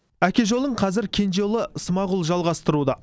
әке жолын қазір кенже ұлы смағұл жалғастыруда